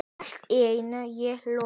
Að eilífu, ég lofa.